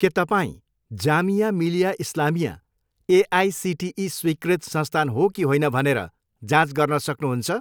के तपाईँँ जामिया मिलिया इस्लामिया एआइसिटिई स्वीकृत संस्थान हो कि होइन भनेर जाँच गर्न सक्नुहुन्छ?